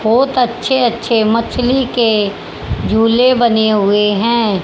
बहोत अच्छे अच्छे मछली के झूले बने हुए हैं।